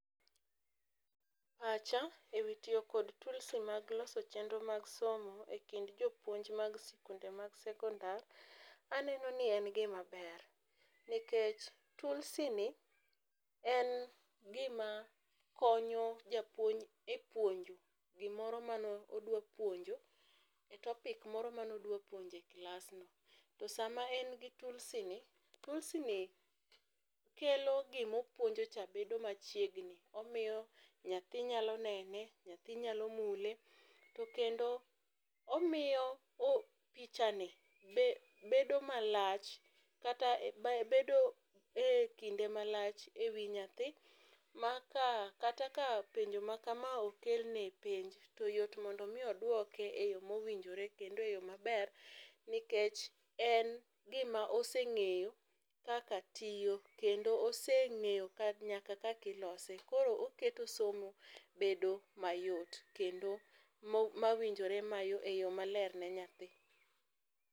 Pacha e wi tiyo kod tulsi mar loso chenro mag somo e kind jo puonj mag sikunde mag sekondar aneno ni en gi ma ber nikech tulsi ni en gi ma konyo japuonj e puonjo gimoro ma ne odwa puonjo e topic moro ma ne odwa puonjo e klas no to saa ma ne gi tulsi no tulsi no kelo gi ma puonjo cha bedo machiegni omiyo nyathi nyalo neno nyathi nyalo mule to kendo omiyo picha ni bedo malach kata picha ni bedo e kinde ma lach e wi nyathi, ma kata ka penjo ma kama okel ni e penj to yot mondo mi odwoke e yo ma owinjore kendo e yo ma ber nikech en gi ma oseng'eyo kaka tiyo kendo oseng'eyo nyaka kaka ilose koro oketo somo bedo ma yot kendo ma owinjore e yo ma ler ne nyathi.